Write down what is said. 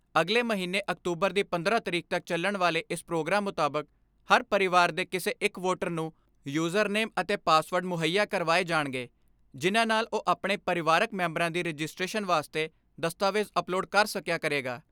ਅਗਲੇ ਮਹੀਨੇ ਅਕਤੂਬਰ ਦੀ ਪੰਦਰਾਂ ਤਾਰੀਖ ਤੱਕ ਚੱਲਣ ਵਾਲੇ ਇਸ ਪ੍ਰੋਗਰਾਮ ਮੁਤਾਬਕ ਹਰ ਪਰਿਵਾਰ ਦੇ ਕਿਸੇ ਇੱਕ ਵੋਟਰ ਨੂੰ ਯੂਜਰਨੇਮ ਅਤੇ ਪਾਸਵਰਡ ਮੁਹੱਈਆ ਕਰਵਾਏ ਜਾਣਗੇ, ਜਿਨ੍ਹਾਂ ਨਾਲ਼ ਉਹ ਆਪਣੇ ਪਰਿਵਾਰਕ ਮੈਂਬਰਾਂ ਦੀ ਰਜਿਸਟ੍ਰੇਸ਼ਨ ਵਾਸਤੇ ਦਸਤਾਵੇਜ ਅਪਲੋਡ ਕਰ ਸਕਿਆ ਕਰੇਗਾ।